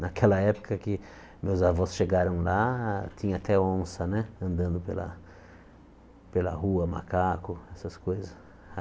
Naquela época que meus avós chegaram lá, tinha até onça né andando pela rua, macaco, essas coisas.